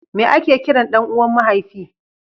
meye a ke kiran ɗan uwan mahaifi?